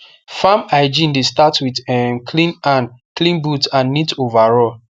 farm hygiene dey start with um clean hand clean boot and neat overall